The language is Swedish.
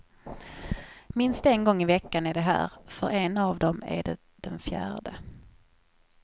Minst en gång i veckan är de här, för en av dem är det den fjärde.